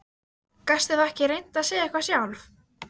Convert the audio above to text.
Gastu þá ekki reynt að segja eitthvað sjálf?